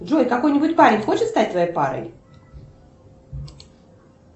джой какой нибудь парень хочет стать твоей парой